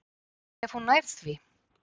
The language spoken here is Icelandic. Ef hún nær því.